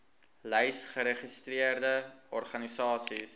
lys geregistreerde organisasies